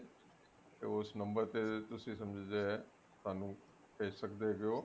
ਤੇ ਉਸ number ਤੇ ਜੋ ਤੁਸੀਂ ਸਾਨੂੰ ਭੇਜ ਸਕਦੇ ਹੈਗੇ ਓ